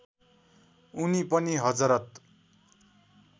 उनी पनि हजरत